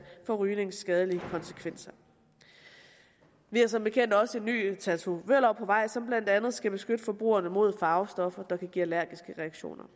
for rygningens skadelige konsekvenser vi har som bekendt også en ny tatovørlov på vej som blandt andet skal beskytte forbrugerne mod farvestoffer der kan give allergiske reaktioner